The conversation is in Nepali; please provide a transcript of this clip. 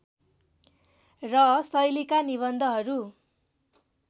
र शैलीका निबन्धहरू